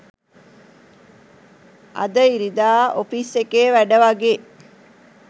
අද ඉරිදා ඔෆිස් එකේ වැඩ වගේ